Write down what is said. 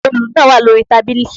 Òòlù náà wà lórí tábìlì.